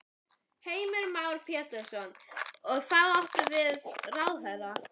Heimir Már Pétursson: Þá áttu við ráðherra?